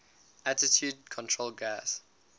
attitude control gas